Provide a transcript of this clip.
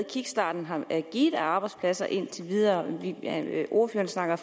kickstarten har givet af arbejdspladser indtil videre ordføreren snakker